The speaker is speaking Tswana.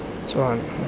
tswana